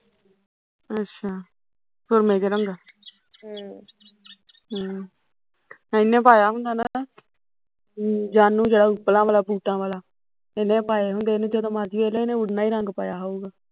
ਅੱਛਾ ਸੂਰਮੇ ਜਹੇ ਰੰਗਾਂ ਹਮ ਹਮ ਇਹਨੇ ਪਾਇਆ ਹੁੰਦਾ ਅਮ ਜਾਨੂ ਜਿਹੜਾ ਉਪਲਾਂ ਵਾਲਾ ਸੂਟਾਂ ਵਾਲਾ ਇਹਨੇ ਪਏ ਹੁੰਦੇ ਨੇ ਜਦੋਂ ਮਰਜ਼ੀ ਵੇਖਲਾ ਇਨੇ ਉਨਾਂ ਇਹੀ ਰੰਗ ਪਾਇਆ ਹੋਉਗਾ